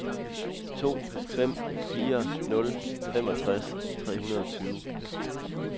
to fem fire nul femogtres tre hundrede og tyve